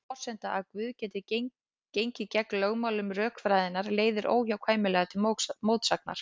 Sú forsenda að Guð geti gengið gegn lögmálum rökfræðinnar leiðir óhjákvæmilega til mótsagnar.